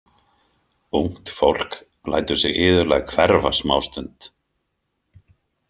Ungt fólk lætur sig iðulega hverfa smástund.